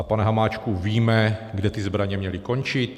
A pane Hamáčku, víme, kde ty zbraně měly končit?